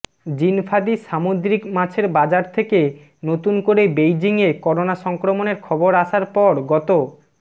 জিনফাদি সামুদ্রিক মাছের বাজার থেকে নতুন করে বেইজিংয়ে করোনা সংক্রমণের খবর আসার পর গত